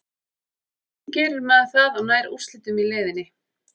Hvernig gerir maður það og nær úrslitum í leiðinni?